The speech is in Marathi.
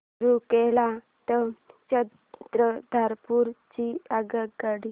रूरकेला ते चक्रधरपुर ची आगगाडी